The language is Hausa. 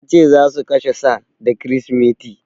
Ya ce za su kashe sa da Kirsimeti.